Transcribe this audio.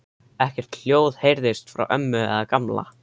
Ekkert hljóð heyrðist frá ömmu eða Gamla.